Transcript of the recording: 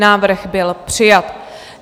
Návrh byl přijat.